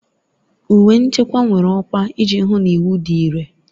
Uwe nchekwa nwere ọkwa iji hụ na iwu dị irè.